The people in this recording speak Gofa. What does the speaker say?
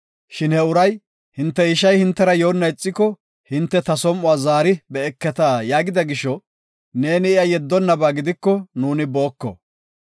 Shin he uray, ‘Hinte ishay hintera yoona ixiko hinte ta som7uwa zaari be7eketa’ ” yaagida gisho, neeni iya yeddonnaba gidiko nuuni booko.